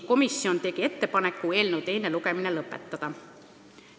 Komisjon tegi ettepaneku eelnõu teine lugemine lõpetada.